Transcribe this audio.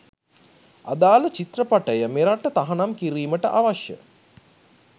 අදාල චිත්‍රපටය මෙරට තහනම් කිරිමට අවශ්‍ය